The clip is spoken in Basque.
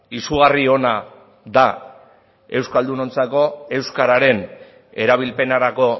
izugarri ona da euskaldunontzako euskararen erabilpenerako